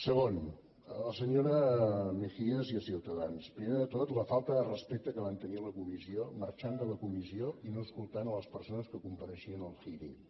segon a la senyora mejías i a ciutadans primer de tot la falta de respecte que van tenir a la comissió en marxar de la comissió i no escoltar les persones que compareixien al hearing